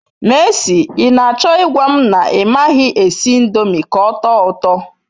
Mercy, I nacho igwam na I maghi esi indomi k'otoo uto